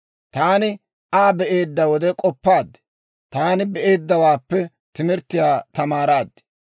Taani Aa be'eedda wode, k'oppaad; taani be'eeddawaappe timirttiyaa tamaaraad.